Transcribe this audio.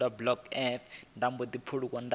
wane fomo dzo teaho dza